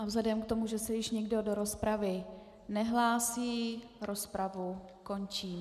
A vzhledem k tomu, že se již nikdo do rozpravy nehlásí, rozpravu končím.